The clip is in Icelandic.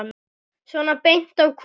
Svona beint af kúnni.